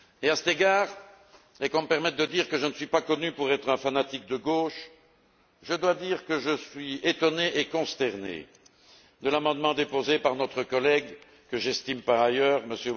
À cet égard et qu'on me permette de dire que je ne suis pas connu pour être un fanatique de gauche je dois dire que je suis étonné et consterné par l'amendement déposé par notre collègue que j'estime par ailleurs M.